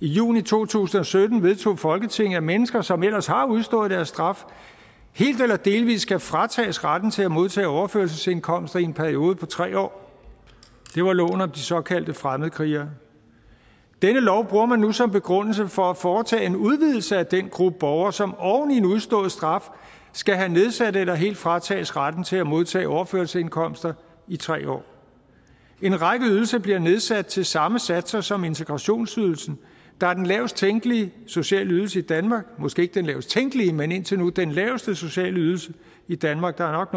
i juni to tusind og sytten vedtog folketinget at mennesker som ellers har udstået deres straf helt eller delvis skal fratages retten til at modtage overførselsindkomster i en periode på tre år det var loven om de såkaldte fremmedkrigere denne lov bruger man nu som begrundelse for at foretage en udvidelse af den gruppe borgere som oven i en udstået straf skal have nedsat eller helt fratages retten til at modtage overførselsindkomster i tre år en række ydelser bliver nedsat til samme satser som integrationsydelsen der er den lavest tænkelige sociale ydelse i danmark måske ikke den lavest tænkelige men indtil nu den laveste sociale ydelse i danmark der er